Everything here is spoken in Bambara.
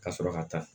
Ka sɔrɔ ka taa